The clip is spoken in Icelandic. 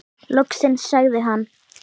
Loksins sagði hann.